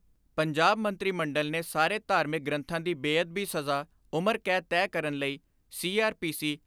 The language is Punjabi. ਪੰਜਾਬ ਮੰਤਰੀ ਮੰਡਲ ਨੇ ਸਾਰੇ ਧਾਰਮਿਕ ਗ੍ਰੰਥਾਂ ਦੀ ਬੇਅਦਬੀ ਸਜ਼ਾ ਉਮਰ ਕੈਦ ਤੈਅ ਕਰਨ ਲਈ ਸੀ.ਆਰ.ਪੀ.ਸੀ.